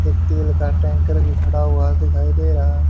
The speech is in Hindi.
एक तेल टैंकर भी खड़ा हुआ दिखाई दे रहा है।